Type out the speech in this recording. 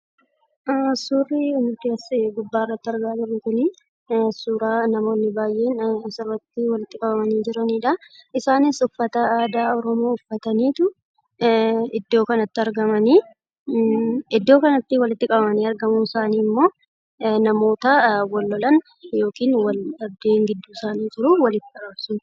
Suurri nuti as gubbaarratti argaa jirru kunii, suuraa namoonni baay'ee naamusa irratti walitti qabamanii jiraniidha. Isaanis uffata aadaa Oromoo uffataniitu iddoo kanatti argamanii. Iddoo kanatti walitti qabamanii argamuun isaanii immoo, namoota wal lolan yookiin wal-dhabdeen gidduu isaanii jiru walitti araarsuuf.